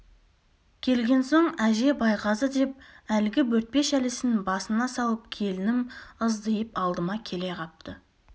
келген соң әже байғазы деп әлгі бөртпе шәлісін басына салып келінім ыздиып алдыма келе қапты